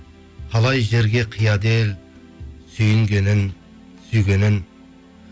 қалай жерге қияды ел сүйінгенін сүйгенін